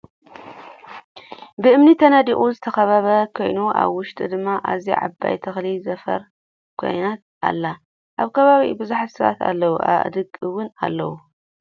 ብእምኒ ተነዲቁ ዝተከበበ ኮይኑኣበ ውሸጡ ድማ ኣዝያ ዓባይ ተክሊ ዘፋር ዝኮነት ኣላ ። ኣብ ከባቢኡ ብዙሓት ሰባት ኣለው ኣእዱግ እውን ኣለው።